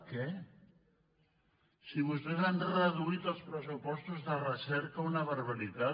què si vostès han reduït els pressupostos de recerca una barbaritat